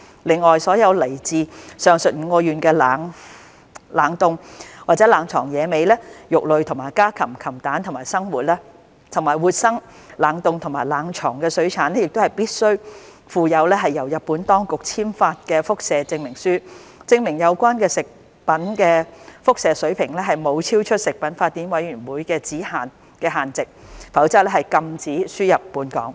另外，所有來自上述5個縣的冷凍或冷藏野味、肉類和家禽、禽蛋，以及活生、冷凍或冷藏水產品亦必須附有由日本當局簽發的輻射證明書，證明有關食物的輻射水平沒有超出食品法典委員會的指引限值，否則亦禁止輸入本港。